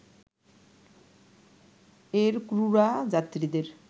এর ক্রুরা যাত্রীদের